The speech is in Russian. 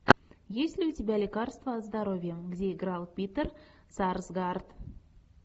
есть ли у тебя лекарство от здоровья где играл питер сарсгаард